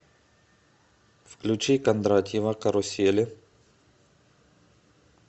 включи кондратьева карусели